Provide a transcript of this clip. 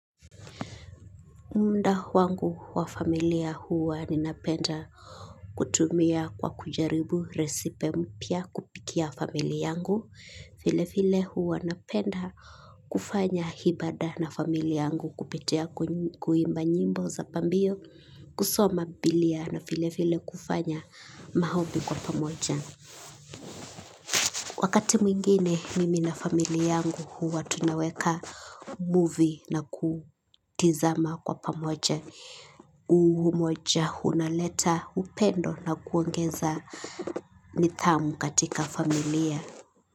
Muda wangu wa familia huwa ninapenda kutumia kwa kujaribu resipe mpya kupikia familia yangu. Vile vile huwa napenda kufanya ibada na familia yangu kupitia kuimba nyimbo za pambio kusoma bibilia na vile vile kufanya maombi kwa pamoja. Wakati mwingine mimi na familia tangu huwa tunaweka movie na kutazama kwa pamoja. Umoja, unaleta, upendo na kuongeza nithamu katika familia.